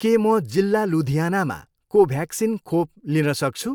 के म जिल्ला लुधियानामा कोभ्याक्सिन खोप लिन सक्छु?